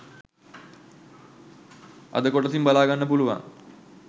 අද කොටසින් බලාගන්න පුලුවන්!